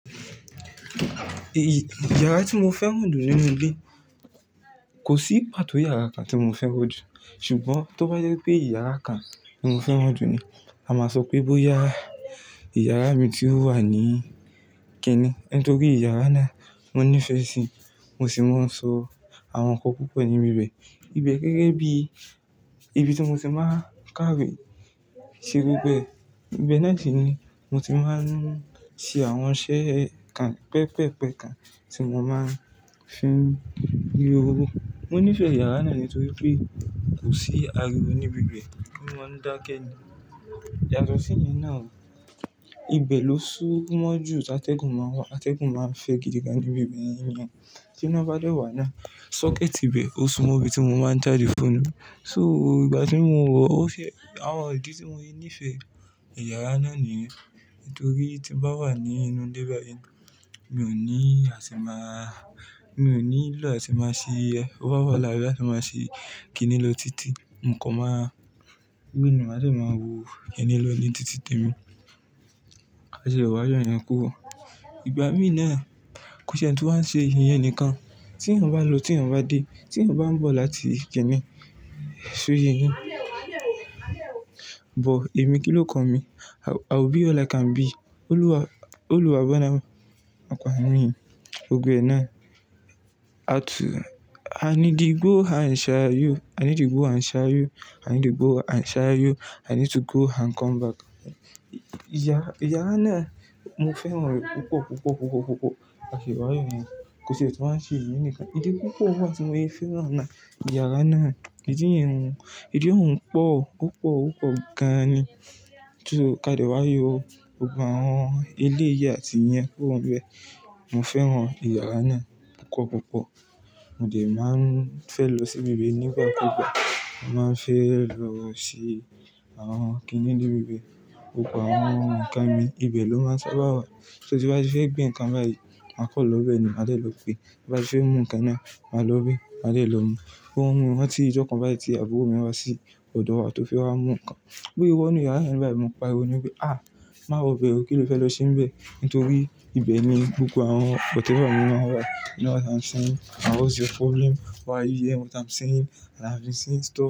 Èyí, yàrá tí mo fẹ́ràn jù nínú ilé kò sí pàtó yàrá kan tí mo fẹ́ràn jù. Ṣùgbọ́n tó bá jẹ pé yàrá kan ni mo fẹ́ràn jù ni, a máa sọ pé bóyá yàrá mi tí ó wà ní Kíní. Nítorí yàrá náà mo nífẹ̀ẹ́ sí i, mo sì máa ń sọ àwọn ǹkan púpọ̀ níbi bẹ̀. Ibẹ̀ gégé bí ibi tí mo ti máa ń kàwé, ṣerú bẹ́ẹ̀. Ibẹ̀ náà ni mo ti máa ń ṣe àwọn iṣẹ́ kan pẹpẹ́pẹ kan tí mo máa ń fi rí owó. Mo nífẹ̀ẹ́ yàrá náà nítorí pé kò sí ariwo níbi bẹ̀, ó máa ń dákẹ́ ni. Yàtò sí yẹn náà o. Ibẹ̀ ló sún mọ́ jù tí atẹ́gùn máa wà, atẹ́gùn máa ń fẹ́ gidigan níbi ibẹ̀ níyan. Tí iná bá dé wà náà, socket ibẹ̀ ó sunmọ ibi tí mo máa ń já the phone mi. So ìgbà tí mo wọ, ó fẹ́, àwọn ìdí tí mo ṣe nífẹ̀ẹ́ yàrá náà ni. Nítorí tí mo bá wà ní inú ilé báyìí, mi ò ní àṣemà-- mi ò nílò àṣemà sí owó ọwọ́, làìsí àṣemà sí kínní lò tìtì. Ǹkan máa gbìnna, màá sì máa wo ìyẹn lọ ní tìtì tèmi. A ṣìlẹ̀ wá yọ ìyẹn kúrò. Ìgbà mí náà, kò ti e ni tún wá ń ṣe ìyẹn nìkan. Tí èèyàn bá lọ, tí èèyàn bá dé, tí èèyàn bá ń bọ̀ láti Kíní sóye yin. But èmi kí ló kan mi? I will be all I can be. Olúwa, Olúwa gbọ́dọ̀ ń pọn à mi òbí ẹ náà. Atu, I need to go and share you, I need to go and share you, I need to go and share you, I need to go and come back. Ìyà-yàrá náà mo fẹ́ràn rẹ̀ púpọ̀, púpọ̀, púpọ̀, púpọ̀. A ṣì wá yọ ìyẹn. Kò ti e tun wa n ṣe ìyẹn nìkan. Ìdí púpọ̀ wà tí mo ṣe ń fẹ́ràn náà, yàrá náà, ìdí yẹn hun. Ìdí òun pọ̀ púpọ̀, ó pọ̀ gan ni. Tún kadìá wá yọ gbogbo àwọn eléyi àtì iyẹ̀n kúrò ní bẹ́ẹ̀. Mo fẹ́ràn yàrá náà púpọ̀, púpọ̀. Mo de n máa ń fẹ́ lọ sí ibẹ̀ nípa púpọ̀. Mo máa ń fẹ́ lọ wọ sí àwọn kìíní níbi bẹ̀. Gbogbo àwọn ǹkan mi, ibẹ̀ ló máa ń sábà wà. So tí wọ́n bá fẹ́ gbé ǹkan báyìí, máa kọ̀ ọ́ lọ́bẹ̀ ni, màá dé lọ gbé. Bá ti fẹ́ mú ǹkan náà, màá lọ íbè, màá dé lọ mú. Ó hun wọn tí ìjọkan báyìí tí àbúrò mi wá sí ọ̀dọ̀ wa tó fẹ́ wá mú ǹkan. Bí ó wọ inú yàrá yẹn báyìí, mo pa ariwo ni wí pé, "Ah! Má wo ibẹ̀ o. Kí ló fẹ́ lọ se níbẹ̀?" Nítorí ibẹ̀ ni gbogbo àwọn whatever mi máa ń wà. You know what I'm saying? And what's your problem? Why are you hearing what I'm saying? And I've been saying.